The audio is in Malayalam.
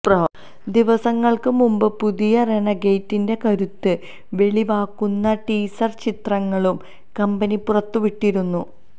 ദിവസങ്ങള്ക്ക് മുമ്പ് പുതിയ റെനഗേഡിന്റെ കരുത്ത് വെളിവാക്കുന്ന ടീസര് ചിത്രങ്ങളും കമ്പനി പുറത്തിവിട്ടിരുന്നു